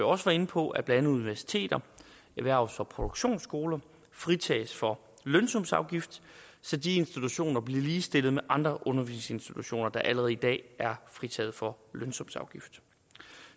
også var inde på at blandt andet universiteter erhvervs og produktionsskoler fritages for lønsumsafgift så de institutioner bliver ligestillet med andre undervisningsinstitutioner der allerede i dag er fritaget for lønsumsafgift